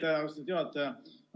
Aitäh, austatud juhataja!